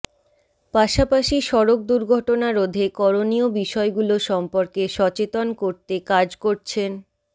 পাশাপাশি সড়ক দুর্ঘটনা রোধে করণীয় বিষয়গুলো সম্পর্কে সচেতন করতে কাজ করছেন